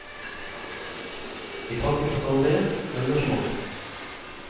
Vi takker for samarbeidet og engasjementet.